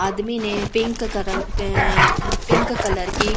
आदमी ने पिंक कर पिंक कलर की--